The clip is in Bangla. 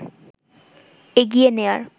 এগিয়ে নেয়ার